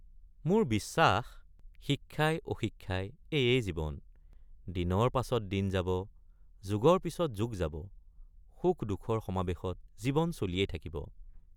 মোৰ বিশ্বাস শিক্ষাই অশিক্ষাই এয়েই জীৱন ৷ দিনৰ পিচত দিন যাব যুগৰ পিচত যুগ যাব—সুখদুখৰ সমাবেশত জীৱন চলিয়েই থাকিব।